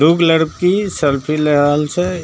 एक लड़की सेल्फी ले रहल छे।